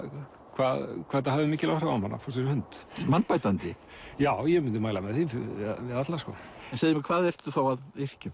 hvað þetta hafði mikil áhrif á mann að fá sér hund mannbætandi já ég mundi mæla með því við alla en segðu mér hvað ertu þá að yrkja um